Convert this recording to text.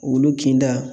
Olu kinda